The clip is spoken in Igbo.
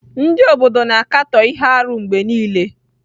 Ndị obodo na-akatọ ihe arụ mgbe niile.